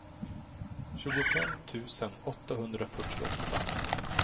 tjugofem tusen åttahundrafyrtioåtta